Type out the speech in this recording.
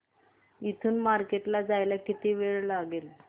इथून मार्केट ला जायला किती वेळ लागेल